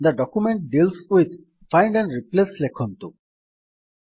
the document deals with find and replace ଲେଖନ୍ତୁ